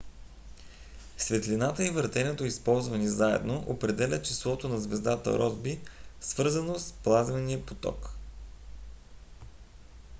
светлината и въртенето използвани заедно определят числото на звездата росби свързано с плазмения поток